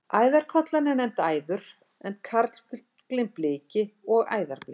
Æðarkollan er nefnd æður en karlfuglinn bliki og æðarbliki.